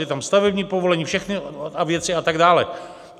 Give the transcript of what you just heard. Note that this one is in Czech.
Je tam stavební povolení, všechny věci a tak dále.